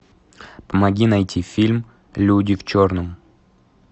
помоги найти фильм люди в черном